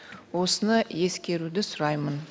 осыны ескеруді сұраймын